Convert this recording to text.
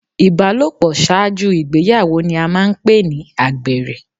Ìbálòpọ̀ ṣáájú ìgbéyàwó ni a máa ń pè ní àgbèrè.